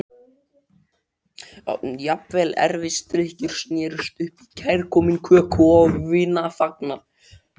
Jafnvel erfisdrykkjur snerust upp í kærkominn köku- og vinafagnað.